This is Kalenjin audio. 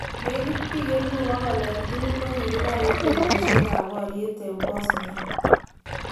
Nekit bik 100,000 eng tugul kokikibar eng betushek kap boryet eng Bosnia.